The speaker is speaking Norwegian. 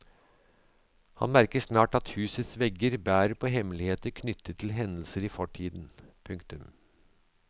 Han merker snart at husets vegger bærer på hemmeligheter knyttet til hendelser i fortiden. punktum